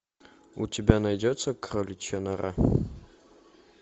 у тебя найдется кроличья нора